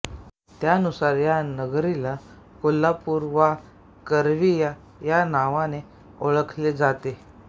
त्यानुसार या नगरीला कोल्हापूर वा करवीर या नावाने ओळखले जाते